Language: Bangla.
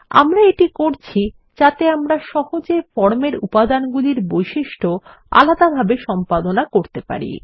আমরা এটি করছি যাতে আমরা সহজে ফর্মের উপাদানগুলির বৈশিষ্ট্য আলাদাভাবে সম্পাদনা করতে পারি